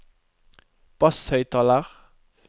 basshøyttaler